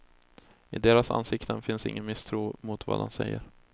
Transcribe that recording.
I deras ansikten finns ingen misstro mot vad han säger.